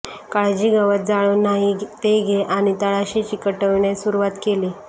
काळजी गवत जाळून नाही ते घे आणि तळाशी चिकटविणे सुरुवात केली